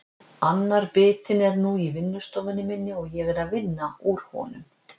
Annar bitinn er nú í vinnustofunni minni og ég er að vinna úr honum.